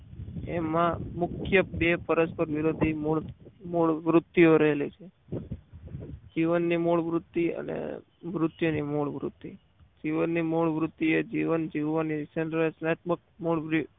એમાં મુખ્ય બે પરસ્પર વિરોધી મૂળ વૃત્તિઓ રહેલી છે જીવનની મૂળવૃત્તિ અને મૃત્યુની મૂળ વૃત્તિ જીવનની મૂળ વૃત્તિ એ જીવન જીવવા